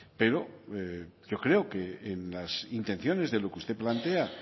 pero yo creo que en las intenciones de lo que usted plantea